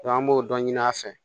an b'o dɔ ɲini a fɛ